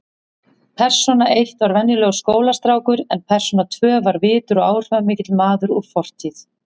Persóna eitt var venjulegur skólastrákur en persóna tvö var virtur og áhrifamikill maður úr fortíð.